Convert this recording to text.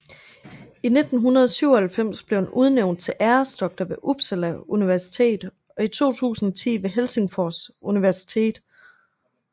I 1997 blev han udnævnt til æresdoktor ved Uppsala Universitet og i 2010 ved Helsingfors Universitet